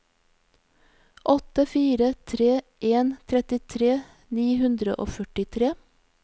åtte fire tre en trettitre ni hundre og førtitre